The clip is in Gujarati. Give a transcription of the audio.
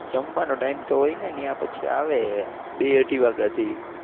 જમવાનો Time તો હોય ને ત્યાં પછી આવે બે અઢી વાગ્યા થી.